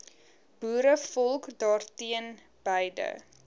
boerevolk daarteen beide